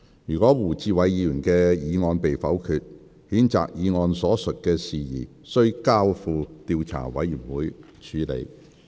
如胡志偉議員的議案被否決，譴責議案所述的事宜須交付調查委員會處理。